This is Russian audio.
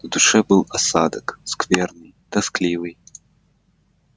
на душе был осадок скверный тоскливый